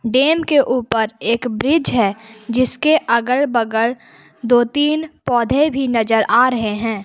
Dam के ऊपर एक ब्रिज है जिसके अगल बगल दो तीन पौधे भी नजर आ रहे हैं।